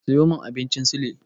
Siyo min abincin sule.